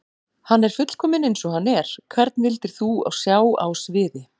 Hann er fullkominn eins og hann er Hvern vildir þú sjá á sviði?